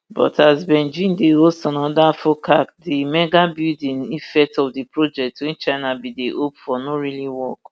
but as beijing dey host anoda focac di mega building effect of di project wey china bin dey hope for no really work